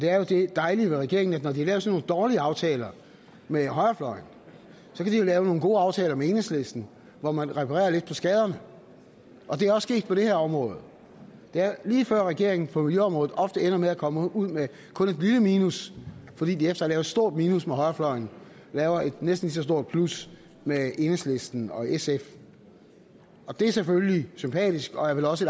er jo det dejlige med regeringen at når de har lavet sådan nogle dårlige aftaler med højrefløjen kan de jo lave nogle gode aftaler med enhedslisten hvor man reparerer lidt på skaderne og det er også sket på det her område det er lige før regeringen på miljøområdet ofte ender med at komme ud med kun et lille minus fordi de efter et stort minus med højrefløjen laver et næsten lige så stort plus med enhedslisten og sf det er selvfølgelig sympatisk og er vel også